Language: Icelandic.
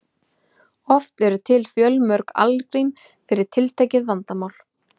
Oft eru til fjölmörg algrím fyrir tiltekið vandamál.